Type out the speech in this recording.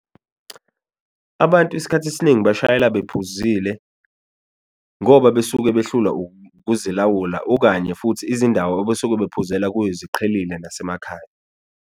Abantu isikhathi esiningi bashayela bephuzile ngoba besuke behlulwa ukuzilawula okanye futhi izindawo abasuke bephuzela kuyo ziqhelile nasemakhaya.